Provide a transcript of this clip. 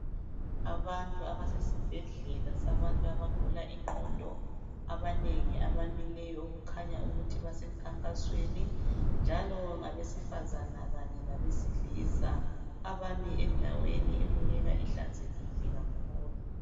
Abantu abasesi bhedlela sabantu abagula ingqondo abanengi abamileyo abakhanya bese mkhakhasweni njalo ngabe sifazana labesilisa abame endaweni ebukeka ihlanzeke kakhulu.